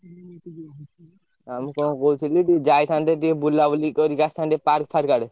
ଆଉ ମୁଁ କଣ କହୁଥିଲି ଟିକେ ଯାଇଥାନ୍ତେ ଟିକେ ବୁଲାବୁଲି କରିକି ଆସିଥାନ୍ତେ park ଫାର୍କ ଆଡେ।